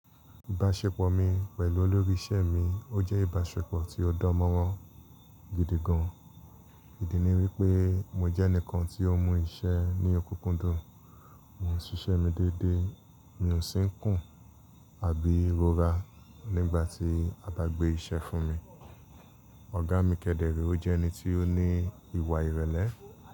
Ìbáṣepọ̀ mi pẹ̀lú olórí iṣẹ́ mi ó jẹ́ ìbáṣepọ̀ tí ó dánmọ́rán gidi gan. Ìdí ni wípé mo jẹ́ ẹnìkan tí ó mú iṣẹ́ ní òkúkúndùn, mò ń ṣiṣẹ́ mi dédé, mi ò sí ń kùn àbí rọra nígbà tí a bá gbé iṣẹ́ fún mi. Oga mi kẹdẹrẹ, ó jẹ́ ẹni tí ó ní ìwà ìrẹ̀lẹ̀